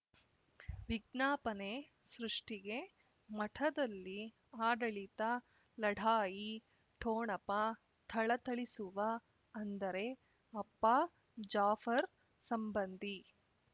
ವಿಜ್ಞಾಪನೆ ಸೃಷ್ಟಿಗೆ ಮಠದಲ್ಲಿ ಆಡಳಿತ ಲಢಾಯಿ ಠೊಣಪ ಥಳಥಳಿಸುವ ಅಂದರೆ ಅಪ್ಪ ಜಾಫರ್ ಸಂಬಂಧಿ